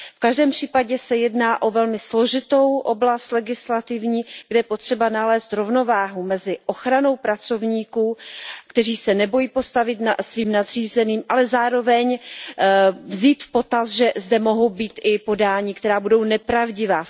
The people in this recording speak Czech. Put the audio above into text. V každém případě se jedná o velmi složitou oblast legislativní, kde je potřeba nalézt rovnováhu mezi ochranou pracovníků, kteří se nebojí postavit svým nadřízeným, ale zároveň vzít v potaz, že zde mohou být i oznámení, která budou nepravdivá.